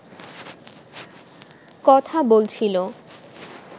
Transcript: কথা বলছিল